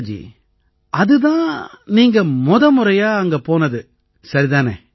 சுனிதா ஜி அது தான் நீங்க முதமுறையா அங்க போனது சரிதானே